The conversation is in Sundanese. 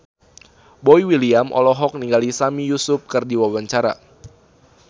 Boy William olohok ningali Sami Yusuf keur diwawancara